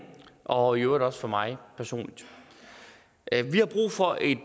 og i øvrigt også for mig personligt vi har brug for et